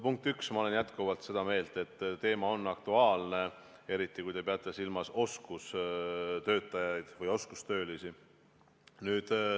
Punkt üks, ma olen jätkuvalt seda meelt, et teema on aktuaalne, eriti kui te peate silmas oskustöötajaid või oskustöölisi.